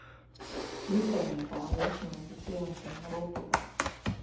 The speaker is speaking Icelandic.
Skilgreiningar á mismunandi tegundum róbóta.